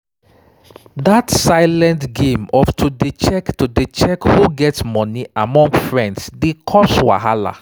that silent game of to dey check to dey check who get money pass among friends dey cause wahala